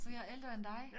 Så jeg er ældre end dig